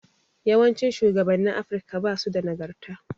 Yawancin shugabannin Afirika basu da nagarta.